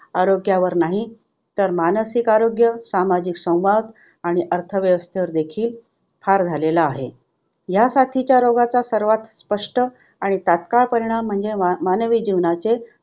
आरोग्यावर नाही तर मानसिक आरोग्य, सामाजिक संवाद आणि अर्थव्यवस्थेवर देखील फार झालेला आहे. ह्या साथीच्या रोगाचा सर्वात स्पष्ट आणि तात्काळ परिणाम म्हणजे मानवी जीवनाचे